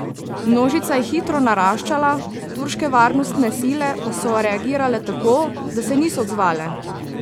Množica je hitro naraščala, turške varnostne sile pa so reagirale tako, da se niso odzvale.